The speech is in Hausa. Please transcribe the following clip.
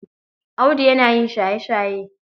Audu yana yin shaye-shaye.